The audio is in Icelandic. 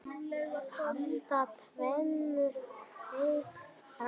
Handa tveimur til þremur